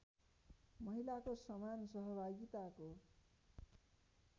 महिलाको समान सहभागिताको